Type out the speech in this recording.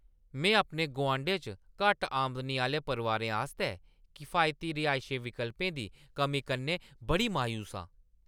में अपने गुआंढै च घट्ट आमदनी आह्‌ले परोआरें आस्तै किफायती रिहायशी विकल्पें दी कमी कन्नै बड़ी मायूस आं।